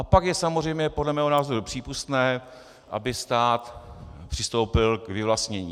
A pak je samozřejmě podle mého názoru přípustné, aby stát přistoupil k vyvlastnění.